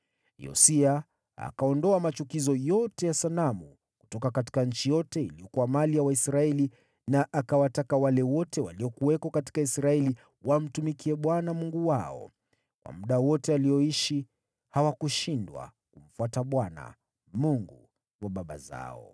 Yosia akaondoa machukizo yote ya sanamu kutoka nchi yote iliyokuwa mali ya Waisraeli na akawataka wale wote waliokuwako katika Israeli wamtumikie Bwana Mungu wao. Kwa muda wote alioishi, hawakushindwa kumfuata Bwana , Mungu wa baba zao.